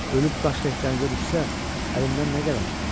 Ölüb daş tək dənizə düşsə, əlimdən nə gələr?"